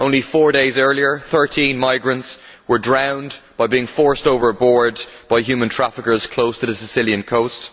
Only 4 days earlier, 13 migrants were drowned by being forced overboard by human traffickers close to the Sicilian coast.